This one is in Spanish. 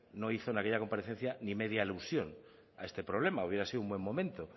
no hizo en aquella comparecencia ni media alusión a este problema hubiera sido un buen momento